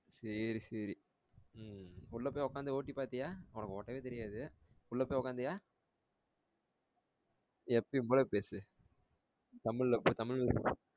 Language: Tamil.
சேரி சேரி உம் உள்ள போயி உக்காந்து ஓட்டி பாத்தியா உனக்கு ஓட்டவே தெரியாது உள்ள போயி உக்காந்தியா எப்பயும் போல பேசு தமிழ்ல ப தமிழ்ல